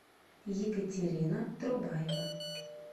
екатерина трубаева